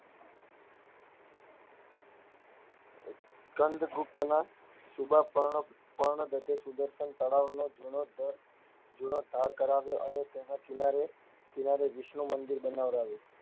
સ્કંદગુપ્ત ના શુભાંકર્ણ પર્ણ તળાવ ની જીનોધાર જીનોધર કરાવ્યું અને તેના કિનારે કિનારે વિષ્ણુ મંદિર બનાવડાવ્યું.